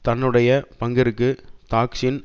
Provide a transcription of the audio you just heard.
தன்னுடைய பங்கிற்கு தாக்சின்